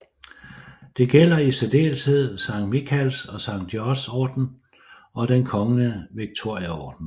Det gælder i særdeleshed Sankt Mikaels og Sankt Georgs orden og Den kongelige Victoriaorden